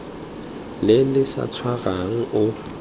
le le sa tshwarang o